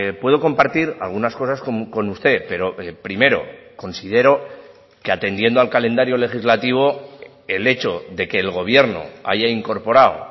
puedo compartir algunas cosas con usted pero primero considero que atendiendo al calendario legislativo el hecho de que el gobierno haya incorporado